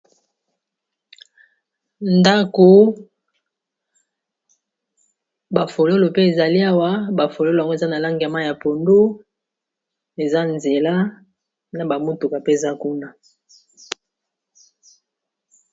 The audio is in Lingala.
ndako bafololo pe ezali awa bafololo ango eza na langa ma ya pondo eza nzela na bamotuka peza kuna